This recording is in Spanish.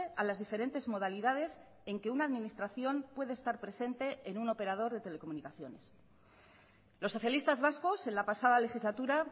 a las diferentes modalidades en que una administración puede estar presente en un operador de telecomunicaciones los socialistas vascos en la pasada legislatura